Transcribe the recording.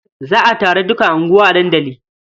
Za a taron duka unguwa a dandali.